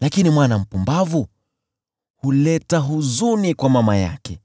lakini mwana mpumbavu huleta huzuni kwa mama yake.